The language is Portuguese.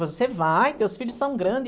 Você vai, teus filhos são grande.